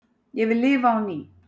Ég vil lifa á ný